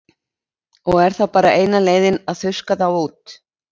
Og er þá bara eina leiðin að þurrka þá út?